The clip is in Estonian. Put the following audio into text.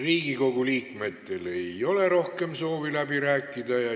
Riigikogu liikmetel ei ole rohkem soovi läbi rääkida.